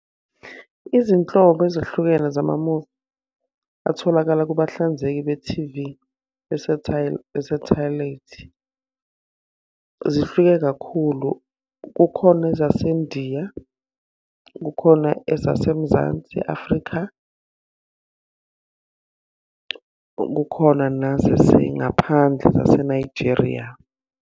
Izinhlobo ezahlukene zamamuvi atholakala kubahlanzeki be-T_V besathaleyithi, zihluke kakhulu. Kukhona ezaseNdiya. Kukhona ezaseMzansi Afrika. Kukhona nezasengaphandle zaseNigeria.